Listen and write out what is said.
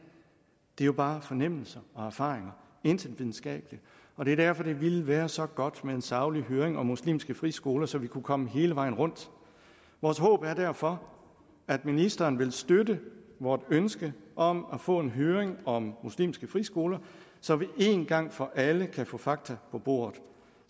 er jo bare fornemmelser og erfaringer der intet videnskabeligt og det er derfor det ville være så godt med en saglig høring om muslimske friskoler så vi kunne komme hele vejen rundt vores håb er derfor at ministeren vil støtte vort ønske om at få en høring om muslimske friskoler så vi en gang for alle kan få fakta på bordet